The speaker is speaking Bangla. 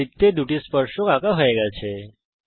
বৃত্তের মধ্যে দুটি স্পর্শক আঁকা হয়ে গেছে